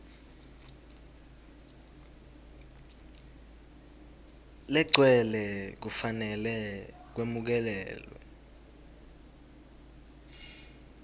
legcwele kufanele kwemukelwe